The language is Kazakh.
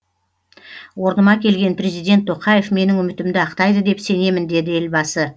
орныма келген президент тоқаев менің үмітімді ақтайды деп сенемін деді елбасы